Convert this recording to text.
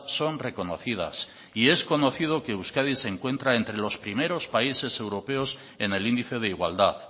son reconocidas y es conocido que euskadi se encuentra entre los primeros países europeos en el índice de igualdad